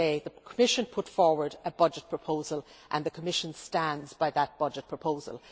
Let me say that the Commission has put forward a budget proposal and the Commission stands by that budget proposal.